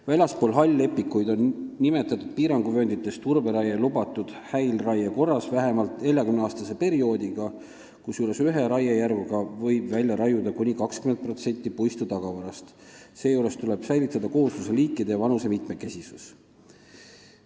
Väljaspool hall-lepikuid on nimetatud piiranguvööndites turberaie lubatud häilraie korras vähemalt 40-aastase perioodiga, kusjuures ühe raiejärguga võib välja raiuda kuni 20% puistu tagavarast, seejuures tuleb säilitada koosluse liikide ja vanuse mitmekesisus.